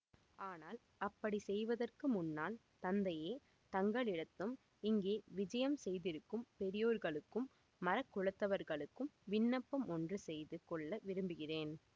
ஆனால் அப்படி செய்வதற்கு முன்னால் தந்தையே தங்களிடத்தும் இங்கே விஜயம் செய்திருக்கும் பெரியோர்களுக்கும் மறக் குலத்தவர்களுக்கும் விண்ணப்பம் ஒன்று செய்து கொள்ள விரும்புகிறேன்